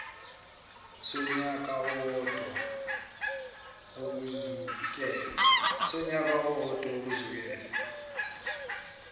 sonyaka owodwa ukusukela